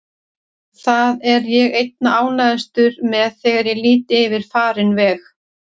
Það er ég einna ánægðastur með þegar ég lít yfir farinn veg.